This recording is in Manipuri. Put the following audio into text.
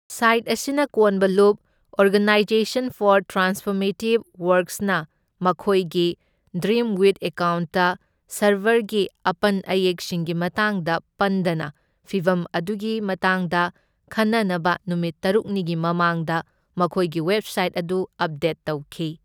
ꯁꯥꯏꯠ ꯑꯁꯤꯅ ꯀꯣꯟꯕ ꯂꯨꯞ, ꯑꯣꯔꯒꯅꯥꯏꯖꯦꯁꯟ ꯐꯣꯔ ꯇ꯭ꯔꯥꯟꯁꯐꯣꯔꯃꯦꯇꯤꯕ ꯋꯥꯔꯛ꯭ꯁꯅ ꯃꯈꯣꯏꯒꯤ ꯗ꯭ꯔꯤꯝꯋꯤꯊ ꯑꯦꯀꯥꯎꯟꯠꯇ ꯁꯔꯚꯔꯒꯤ ꯑꯄꯟ ꯏꯌꯦꯛꯁꯤꯡꯒꯤ ꯃꯇꯥꯡꯗ ꯄꯟꯗꯅ, ꯐꯤꯚꯝ ꯑꯗꯨꯒꯤ ꯃꯇꯥꯡꯗ ꯈꯟꯅꯅꯕ ꯅꯨꯃꯤꯠ ꯇꯔꯨꯛꯅꯤꯒꯤ ꯃꯃꯥꯡꯗ ꯃꯈꯣꯏꯒꯤ ꯋꯦꯕꯁꯥꯏꯠ ꯑꯗꯨ ꯑꯞꯗꯦꯠ ꯇꯧꯈꯤ꯫